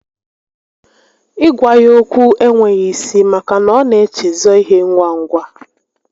Ị gwa ya okwu e nweghi isi maka na ọ na echezọ ihe ngwa ngwa